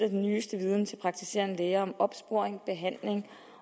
den nyeste viden til praktiserende læger om opsporing og behandling